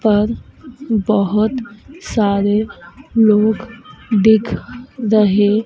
पर बहोत सारे लोग देख रहे--